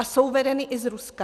A jsou vedeny i z Ruska.